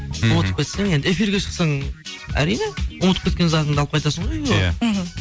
ұмытып кетсең енді эфирге шықсаң әрине ұмытып кеткен затыңды алып қайтасың ғой үйге барып мхм